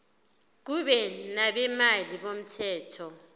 kube nabameli bomthetho